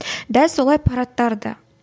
дәл олай парадтар да